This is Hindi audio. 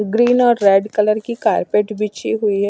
ग्रीन और रेड कलर की कारपेट बिची हुई है।